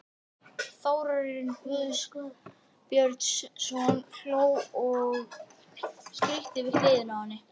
Þórarinn Guðbjörnsson hló og skríkti við hliðina á henni.